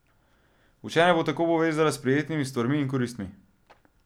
Učenje bo tako povezala s prijetnimi stvarmi ali koristmi.